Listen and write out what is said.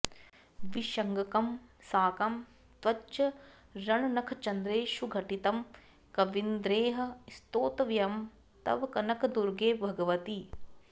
विशङ्कं साकं त्वच्चरणनखचन्द्रेषुघटितं कवीन्द्रैः स्तोतव्यं तव कनकदुर्गे भगवति